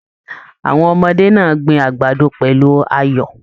Àwọn ọmọdé náà gbìn àgbàdo pẹlú ayọ.